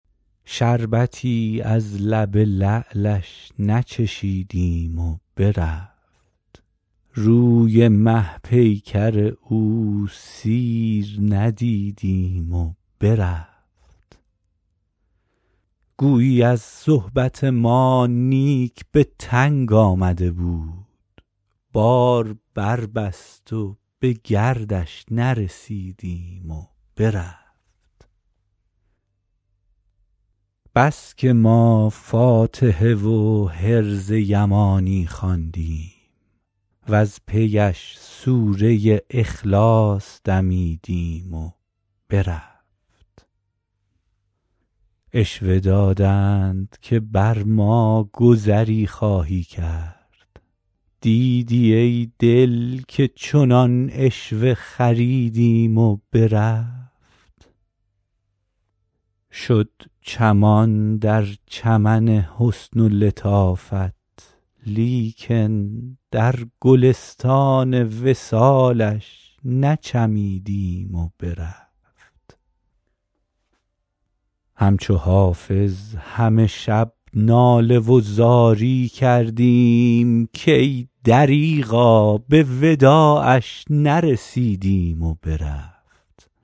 شربتی از لب لعلش نچشیدیم و برفت روی مه پیکر او سیر ندیدیم و برفت گویی از صحبت ما نیک به تنگ آمده بود بار بربست و به گردش نرسیدیم و برفت بس که ما فاتحه و حرز یمانی خواندیم وز پی اش سوره اخلاص دمیدیم و برفت عشوه دادند که بر ما گذری خواهی کرد دیدی آخر که چنین عشوه خریدیم و برفت شد چمان در چمن حسن و لطافت لیکن در گلستان وصالش نچمیدیم و برفت همچو حافظ همه شب ناله و زاری کردیم کای دریغا به وداعش نرسیدیم و برفت